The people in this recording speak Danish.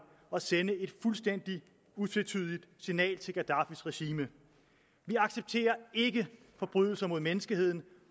at sende et fuldstændig utvetydigt signal til gaddafis regime vi accepterer ikke forbrydelser mod menneskeheden